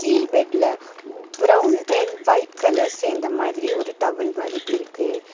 கீழ் பெட்ல brown and white colour சேந்த மாதிரி ஒரு டவல் மாரி இருக்கு.